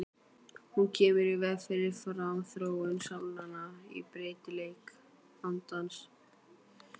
Hún kemur í veg fyrir framþróun sálnanna og breytileik andans.